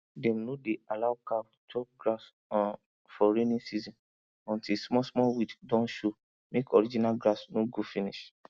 dem no dey allow cow chop grass um for rainy season until smallsmall weed don show mek original grass no go finish